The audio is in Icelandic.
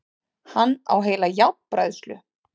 Hann á heila járnbræðslu!